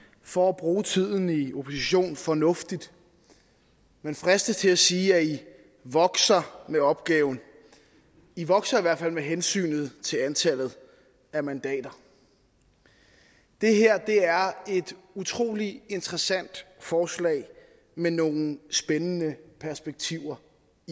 for at bruge tiden i opposition fornuftigt man fristes til at sige at i vokser med opgaven i vokser i hvert fald med hensyn til antallet af mandater det her er et utrolig interessant forslag med nogle spændende perspektiver